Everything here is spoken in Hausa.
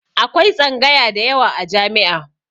Akwai tsangaya da yawa a jami'a.